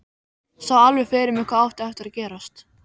Sá alveg fyrir mér hvað átti eftir að gerast.